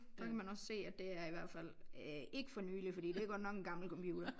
Der kan man også se at det er i hvert fald ikke for nylig fordi det er godt nok en gammel computer